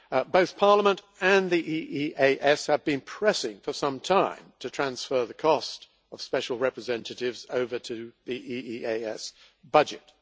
Both Parliament and the EEAS have been pressing for some time to transfer the cost of special representatives over to the EEAS budget.